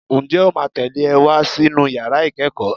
Ǹjẹ́ o máa tẹ̀lé e wá sínú yàrá ìkẹ́kọ̀ọ́?